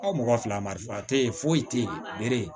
Aw mɔgɔ fila marifa te yen foyi te yen